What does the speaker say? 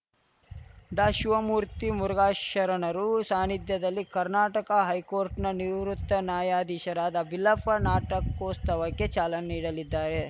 ಡಾಶಿವಮೂರ್ತಿ ಮುರುಘಾಶರಣರು ಸಾನ್ನಿಧ್ಯದಲ್ಲಿ ಕರ್ನಾಟಕ ಹೈಕೋರ್ಟ್‌ನ ನಿವೃತ್ತ ನ್ಯಾಯಾಧೀಶರಾದ ಬಿಲ್ಲಪ್ಪ ನಾಟಕೋಸ್ತವಕ್ಕೆ ಚಾಲನೆ ನೀಡಲಿದ್ದಾರೆ